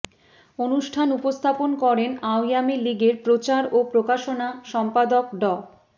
অনুষ্ঠান উপস্থাপন করেন আওয়ামী লীগের প্রচার ও প্রকাশনা সম্পাদক ড